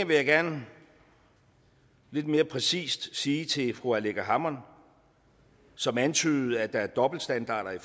vil jeg gerne lidt mere præcist sige til fru aleqa hammond som antydede at der skulle være dobbeltstandarder i